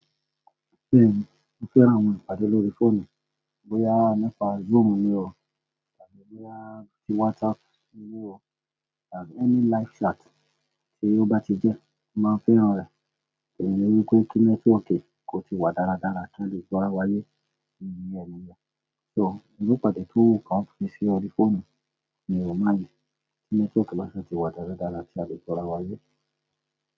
Bẹ́ẹ̀ni, mo fẹ́ àwọn ìpàdé lórí fóònù, bóyá nípa Zoom ni ó, tàbí bóyá tí WhatsApp ni ó, tàbí ẹni live chat tí ó bá ti jẹ́, màá fẹ́ran rẹ̀. Ìrù ẹrú pé kí nẹ́tíwọ́ọ̀kì kó ti wà dáradára kí a lè gbọ́ra wáyé níbi ẹ̀yin ni ń jẹ. So, irú ìpàdé tó kàn fi sí orí fóònù ni mo máa yẹ kí nẹ́tíwọ́ọ̀kì máṣe ti wà dáradára kí a lè gbọ́ra wáyé.